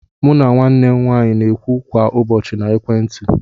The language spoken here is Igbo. Mụ na nwanne m nwaanyị n'okwu kwa ụbọchị na ekwentị.